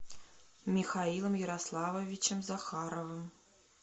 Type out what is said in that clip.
михаилом ярославовичем захаровым